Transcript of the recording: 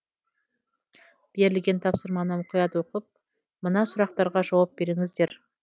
берілген тапсырманы мұқият оқып мына сұрақтарға жауап беріңіздер